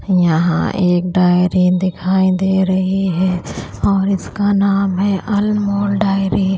यहां एक डायरी दिखाई दे रही है और इसका नाम है अनमोल डायरी ।